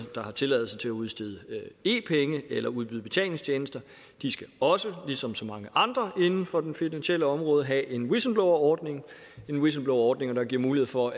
der har tilladelse til at udstede e penge eller udbyde betalingstjenester de skal også ligesom så mange andre inden for det finansielle område have en whistleblowerordning en whistleblowerordning der giver mulighed for